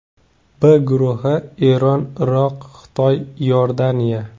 B guruhi: Eron, Iroq, Xitoy, Iordaniya.